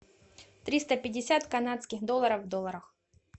триста пятьдесят канадских долларов в долларах